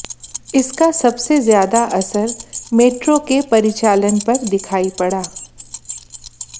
इसका सबसे ज्यादा असर मेट्रो के परिचालन पर दिखाई पड़ा